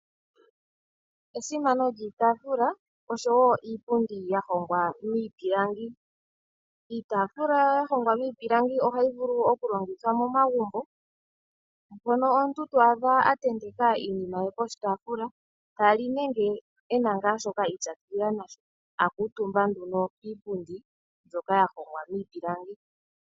Esimano lyiitaafula oshowo iipundi ya hongwa miipilangi. Iitaafula ya hongwa miipilangi ohayi vulu oku longithwa momagumbo, mono omuntu to adha a tenteka iinima ye koshitaafula ta li nenge ena nga shoka iipyakidhila nasho a kuutumba nduno kiipundi mbyoka ya hongwa miipilangi.